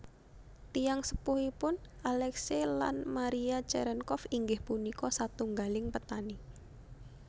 Tiyang sepuhipun Aleksei lan Mariya Cerenkov inggih punika satunggaling petani